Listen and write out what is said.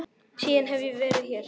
Síðan hef ég verið hér.